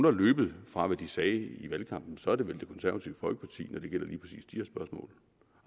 er løbet fra hvad de sagde i valgkampen så er det vel det konservative folkeparti